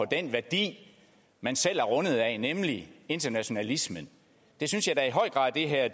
den værdi man selv er rundet af nemlig internationalismen det synes jeg da i høj grad det her